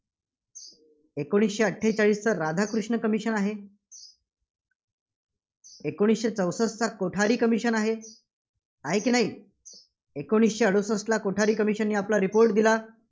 एकोणसीशे अठ्ठेचाळीसचा राधाकृष्ण commission आहे. एकोणीसशे चौसष्ठ कोठारी Commission आहे. आहे की नाही? एकोणीसशे अडुसष्ठला कोठारी commission ने आपला report दिला.